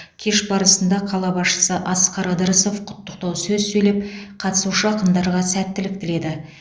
кеш барысында қала басшысы асқар ыдырысов құттықтау сөз сөйлеп қатысушы ақындарға сәттілік тіледі